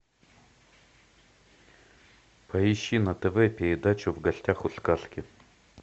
поищи на тв передачу в гостях у сказки